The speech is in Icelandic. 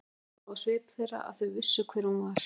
Lóa sá á svip þeirra að þau vissu hver hún var.